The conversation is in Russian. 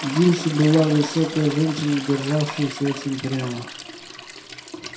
дилси была высокая женщина державшаяся очень прямо